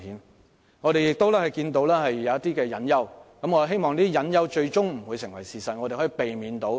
但我們亦同時看到一些隱憂，希望這些隱憂最終不會成為事實，得以避免。